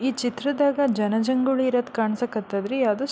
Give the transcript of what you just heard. ಈ ಚಿತ್ರದಾಗ ಜನ ಜಂಗುಳಿ ಇರೋದ್ ಕಾಣ್ಸಕತಾದ್ರಿ ಯಾವ್ದ್ --